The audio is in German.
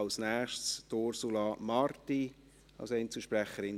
Als Nächste, Ursula Marti, SP, als Einzelsprecherin.